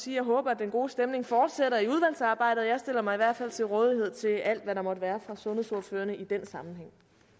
jeg håber at den gode stemning fortsætter i udvalgsarbejdet jeg stiller mig i hvert fald til rådighed til alt hvad der måtte være fra sundhedsordførerne i den sammenhæng